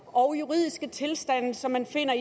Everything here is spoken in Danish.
og juridiske tilstande som man finder